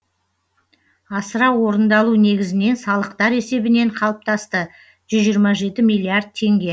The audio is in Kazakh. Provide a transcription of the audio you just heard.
асыра орындалу негізінен салықтар есебінен қалыптасты жүз жиырма жеті миллиард теңге